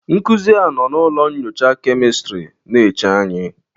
Nkuzi a nọ na ụlọ nyocha kemistri na-eche anyị.